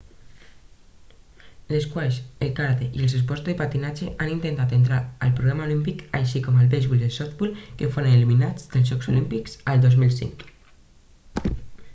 l'esquaix el karate i els esports de patinatge han intentat entrar al programa olímpic així com el beisbol i el softbol que foren eliminats dels jocs olímpics el 2005